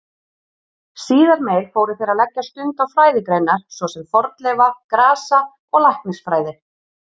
Síðar meir fóru þeir að leggja stund á fræðigreinar svo sem fornleifa-, grasa- og læknisfræði.